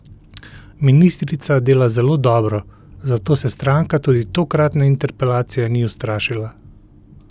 Ministrica dela zelo dobro, zato se stranka tudi tokratne interpelacije ni ustrašila.